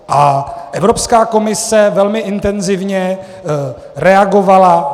A Evropská komise velmi intenzivně reagovala.